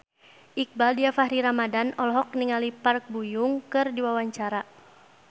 Iqbaal Dhiafakhri Ramadhan olohok ningali Park Bo Yung keur diwawancara